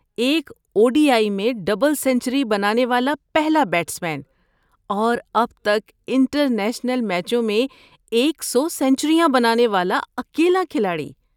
ایک O D I میں double century بنانے والا پہلا بیٹسمین، اور اب تک انٹرنیشنل میچوں میں ایک سو سنچریاں بنانے والا اکیلا کھلاڑی